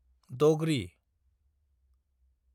दग्रि